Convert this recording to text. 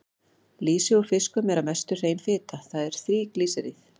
Lýsi úr fiskum er að mestu hrein fita, það er þríglýseríð.